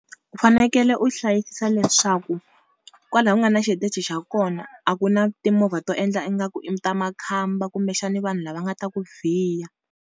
U fanekele u hlayisisa leswaku kwalaho ku nga na xitichi xa kona a ku na timovha to endla ingaku i ta makhamba kumbexani vanhu lava nga ta ku vhiya.